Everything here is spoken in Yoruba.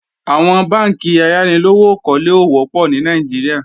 Àwọn bánkì ayánilówókọ́lé ò wọ́pọ̀ ní Nàìjíríà